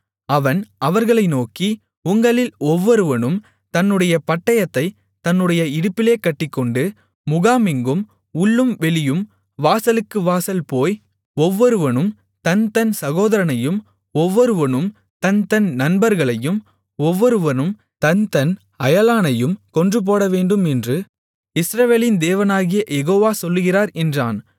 அவன் அவர்களை நோக்கி உங்களில் ஒவ்வொருவனும் தன்னுடைய பட்டயத்தைத் தன்னுடைய இடுப்பிலே கட்டிக்கொண்டு முகாமெங்கும் உள்ளும் வெளியும் வாசலுக்கு வாசல் போய் ஒவ்வொருவனும் தன் தன் சகோதரனையும் ஒவ்வொருவனும் தன் தன் நண்பர்களையும் ஒவ்வொருவனும் தன் தன் அயலானையும் கொன்றுபோடவேண்டும் என்று இஸ்ரவேலின் தேவனாகிய யெகோவா சொல்லுகிறார் என்றான்